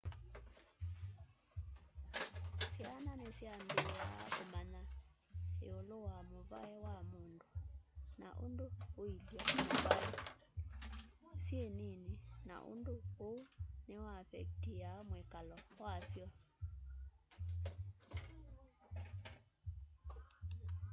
syana nisyambiaa umanya iulu wa mûvai wa mundu na undu uilye muvaî syi nini na undu uu ni uaffectiaa mwikalo wasyo